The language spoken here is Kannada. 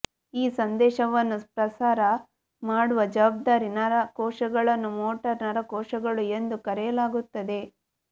ಈ ಸಂದೇಶವನ್ನು ಪ್ರಸಾರ ಮಾಡುವ ಜವಾಬ್ದಾರಿ ನರ ಕೋಶಗಳನ್ನು ಮೋಟಾರ್ ನರಕೋಶಗಳು ಎಂದು ಕರೆಯಲಾಗುತ್ತದೆ